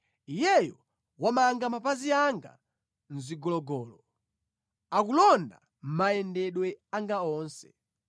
Iyeyo wamanga mapazi anga mʼzigologolo, akulonda mayendedwe anga onse.’